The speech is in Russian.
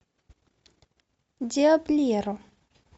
диаблеро